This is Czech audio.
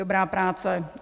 Dobrá práce.